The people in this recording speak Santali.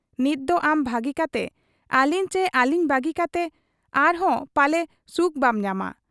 ᱱᱤᱛᱫᱚ ᱟᱢ ᱵᱷᱟᱹᱜᱤ ᱠᱟᱛᱮ ᱟᱹᱞᱤᱧ ᱪᱤ ᱟᱹᱞᱤᱧ ᱵᱟᱹᱜᱤ ᱠᱟᱛᱮ ᱟᱟᱨᱦᱚᱸ ᱯᱟᱞᱮ ᱥᱩᱠ ᱵᱟᱢ ᱧᱟᱢᱟ ᱾